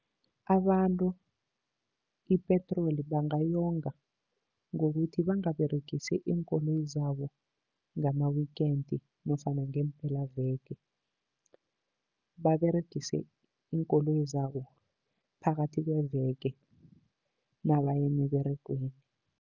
Abantu ipetroli bangayonga ngokuthi bangaberegisi iinkoloyi zabo ngama-weekend nofana ngeempelaveke. Baberegise iinkoloyi zabo phakathi kweveke nabaya emiberegweni.